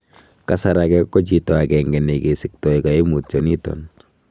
Kasar age ko chito agenge negesikto koimutioniton.